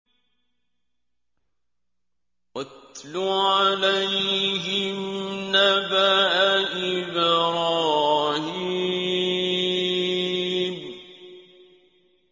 وَاتْلُ عَلَيْهِمْ نَبَأَ إِبْرَاهِيمَ